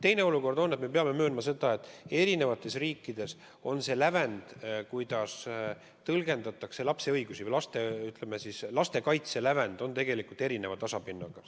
Teine olukord on see, et me peame möönma, et eri riikides on see lävend, kuidas lapse õigusi tõlgendatakse – n-ö lastekaitse lävend – erineva tasapinnaga.